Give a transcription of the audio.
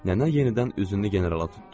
Nənə yenidən üzünü Generala tutdu.